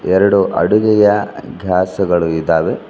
ಎರಡು ಅಡುಗೆಯ ಗ್ಯಾಸ್ ಗಳು ಇದಾವೆ.